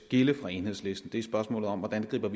fra enhedslisten er i spørgsmålet om hvordan vi griber